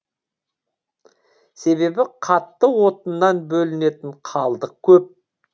себебі қатты отыннан бөлінетін қалдық көп